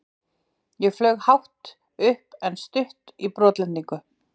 Ég flaug hátt upp en stutt í brotlendingu.